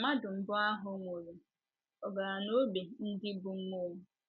Mgbe mmadụ mbụ ahụ nwụrụ, ọ̀ gara n’ógbè ndị bụ́ mmụọ?